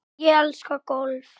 Ég elska golf.